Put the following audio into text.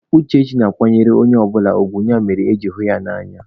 Uchechi na-akwanyere onye ọbụla ugwu, ya mere eji hụ ya n'anya.